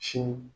Sin